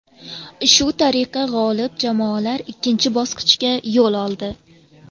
Shu tariqa g‘olib jamoalar ikkinchi bosqichga yo‘l oldi.